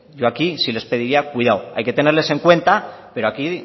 yo aquí sí les pediría cuidado hay que tenerles en cuenta pero aquí